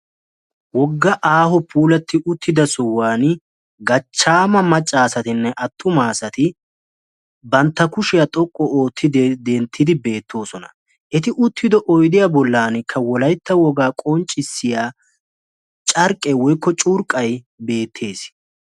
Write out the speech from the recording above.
issi aaho keetta giddoni dumma dumma asati beettosona etta gidonikka potolikka kaaletiya huuphe gadawatikka de'ossona.